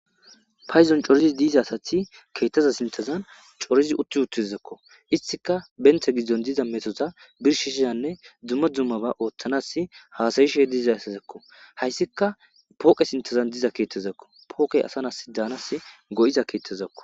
Payzon corizi diiza asati keettaza sintazan corizi utti uttizakko istika benthe giddon diza metota birshishiyanne dumma dummaba ooththanas haasayishe diiza asazakko hayssika pooqe sintazan diza keettezakko pookey asanas daanas go7iza keettezakko.